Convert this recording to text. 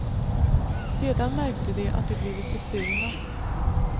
Sedan märkte de att de blivit bestulna.